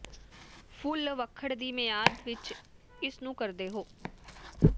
ਫੁੱਲ ਵਖੜ ਦੀ ਮਿਆਦ ਵਿਚ ਇਸ ਨੂੰ ਕਰਦੇ ਹੋ